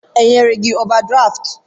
E nyere gị ovadraftụ?